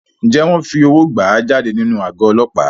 Ǹjẹ́ wọn fi owó gbà á jáde nínú àgọ́ Ọlọ́pàá?